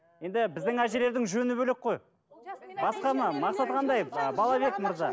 енді біздің әжелердің жөні бөлек қой басқа ма мақсаты қандай ы балабек мырза